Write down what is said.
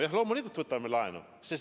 Jah, loomulikult võtame laenu.